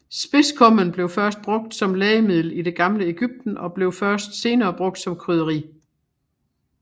Spidskommen blev først brugt som lægemiddel i det gamle Egypten og blev først senere brugt som krydderi